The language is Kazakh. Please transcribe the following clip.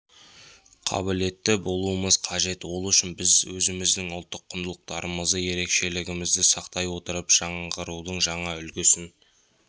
қабілетті болуымыз қажет ол үшін біз өзіміздің ұлттық құндылықтарымызды ерекшелігімізді сақтай отырып жаңғырудың жаңа үлгісін